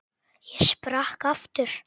Ég sprakk aftur.